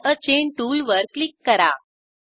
add a chain टूलवर क्लिक करा